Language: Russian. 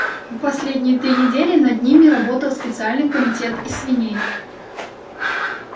последние три недели над ними работал специальный комитет из свиней